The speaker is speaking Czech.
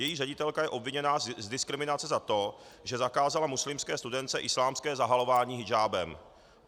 Její ředitelka je obviněna z diskriminace za to, že zakázala muslimské studentce islámské zahalování hidžábem.